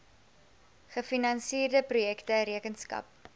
gefinansierde projekte rekenskap